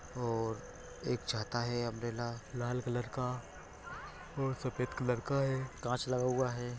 और एक छाता है लाल कलर का और सफेद कलर का है कांच लगा हुआ है।